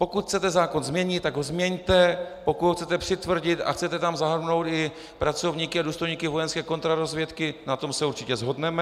Pokud chcete zákon změnit, tak ho změňte, pokud ho chcete přitvrdit a chcete tam zahrnout i pracovníky a důstojníky vojenské kontrarozvědky, na tom se určitě shodneme.